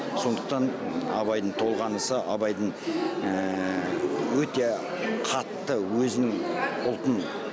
сондықтан абайдың толғанысы абайдың өте қатты өзінің ұлтын